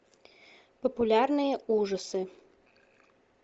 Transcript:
популярные ужасы